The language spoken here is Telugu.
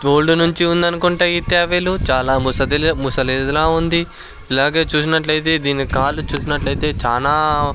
తోల్డూ నుంచి ఉందనుకుంటా ఈత్యబైలో చాలా ముసదిలా ముసలిదిల ఉంది ఇలాగే చూసినట్లయితే దీని కాలు చూసినట్లయితే చానా --